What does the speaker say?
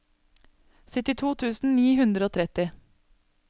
syttito tusen ni hundre og tretti